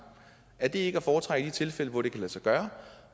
er det ikke at foretrække i de tilfælde hvor det kan lade sig gøre